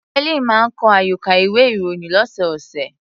Helen máa ń kọ àyọkà ìwé-ìròyìn ọlọ́sọ̀ọ̀sẹ̀.